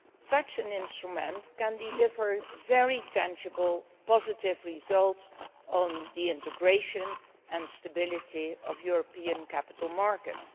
Such an instrument can deliver very tangible, positive results on the integration and stability of European capital markets.